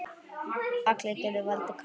Allar gjörðir valda karma.